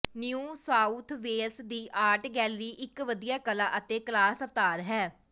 new south wales ਦੀ art gallery ਇਕ ਵਧੀਆ ਕਲਾ ਅਤੇ ਕਲਾਸ ਅਵਤਾਰ ਹੈ